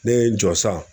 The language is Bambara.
Ne ye n jɔ san